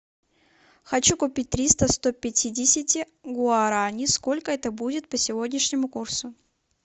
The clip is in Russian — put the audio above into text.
хочу купить триста сто пятидесяти гуарани сколько это будет по сегодняшнему курсу